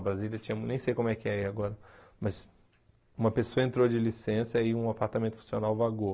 A Brasília tinha, nem sei como é que é agora, mas uma pessoa entrou de licença e um apartamento funcional vagou.